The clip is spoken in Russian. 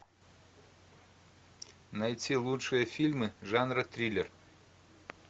найти лучшие фильмы жанра триллер